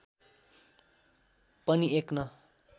पनि एक न